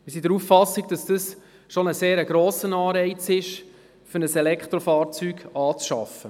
Wir sind der Auffassung, dies sei bereits ein sehr grosser Anreiz, um ein Elektrofahrzeug anzuschaffen.